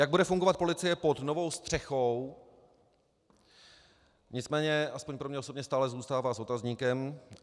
Jak bude fungovat policie pod novou střechou, nicméně alespoň pro mě osobně stále zůstává s otazníkem.